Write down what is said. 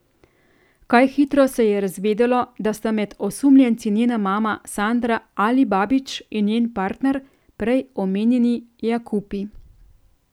Kaj hitro se je razvedelo, da sta med osumljenci njena mama Sanda Alibabić in njen partner, prej omenjeni Jakupi.